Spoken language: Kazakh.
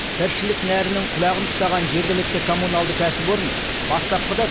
тіршілік нәрінің құлағын ұстаған жергілікті коммуналды кәсіпорын бастапқыда